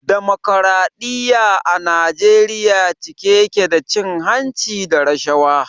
Damokradiyya a Najeriya cike ya ke da cin hanci da rashawa.